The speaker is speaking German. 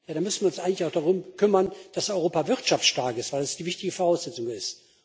Dann müssten wir uns eigentlich auch darum kümmern, dass Europa wirtschaftsstark ist, weil das die wichtige Voraussetzung ist.